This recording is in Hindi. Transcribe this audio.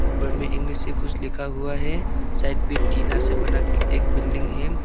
ऊपर मे इंग्लिश में कुछ लिखा हुआ है साइट पे टीना से बनाकर एक बिल्डिंग है।